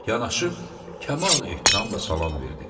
Yanaşıb kamal ehtiramla salam verdi.